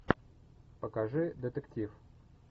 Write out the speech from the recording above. покажи детектив